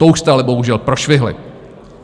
To už jste ale bohužel prošvihli.